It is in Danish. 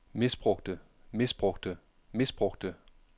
misbrugte misbrugte misbrugte